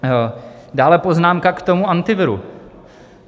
Dále poznámka k tomu Antiviru.